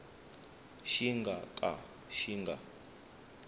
xi nga ka xi nga